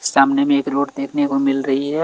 सामने में एक रोड देखने को मिल रहीं हैं।